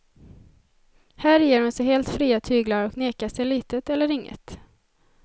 Här ger hon sig helt fria tyglar och nekar sig litet eller inget.